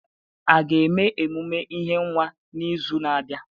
A ga eme emume ihe nwa n'izu na-abịa?